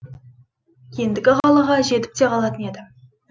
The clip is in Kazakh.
ендігі қалаға жетіп те қалатын еді